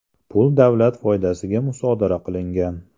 Pul davlat foydasiga musodara qilingan.